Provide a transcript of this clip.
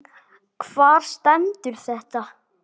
Hvar stendur þetta?